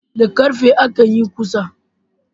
Da ƙarfe akan yin ƙusa